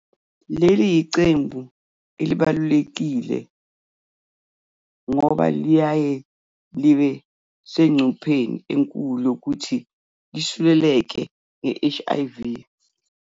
Leli yiqembu elibalulekile ngoba liyaye libe sengcupheni enkulu yokuthi lisuleleke nge-HIV.